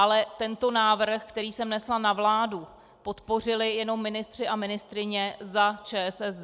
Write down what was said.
Ale tento návrh, který jsem nesla na vládu, podpořili jenom ministři a ministryně za ČSSD.